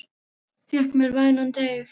Fékk mér vænan teyg.